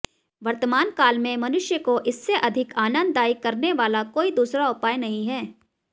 वर्तमान कालमें मनुष्यको इससे अधिकआनंददायी करनेवाला कोई दूसरा उपाय नहीं है